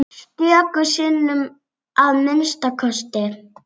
Stöku sinnum að minnsta kosti.